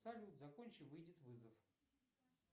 салют закончи выйдет вызов